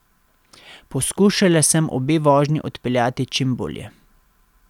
Poskušala sem obe vožnji odpeljati čim bolje.